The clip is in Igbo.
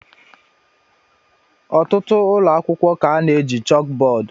Ọtụtụ ụlọ akwụkwọ ka na-eji chalkboard